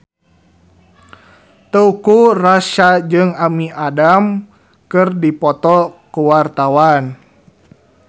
Teuku Rassya jeung Amy Adams keur dipoto ku wartawan